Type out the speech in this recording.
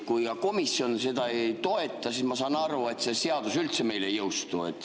Kui komisjon seda ei toeta, siis ma saan aru, et see seadus üldse ei jõustu.